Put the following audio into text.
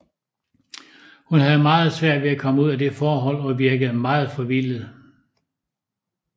Hun havde meget svært ved at komme ud af det forhold og virkede meget forvildet